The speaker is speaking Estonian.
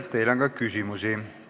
Teile on ka küsimusi.